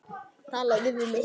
Talaðu við mig!